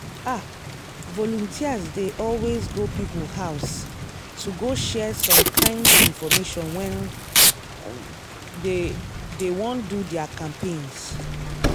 ah! volunteers dey always go people house to go share some kind infomation when um dey dey wan do their campaigns.